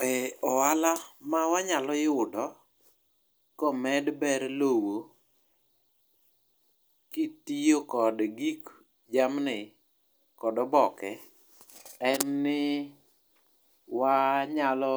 e ohala mawanyalo yudo komed ber lowo kitiyo kod gik jamni kod oboke en ni wanyalo